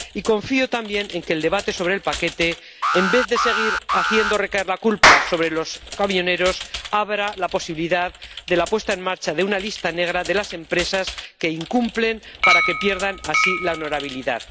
Y confío, también, en que el debate sobre el paquete, en vez de seguir haciendo recaer la culpa sobre los camioneros, abra la posibilidad de la puesta en marcha de una lista negra de las empresas que incumplen, para que pierdan así la honorabilidad.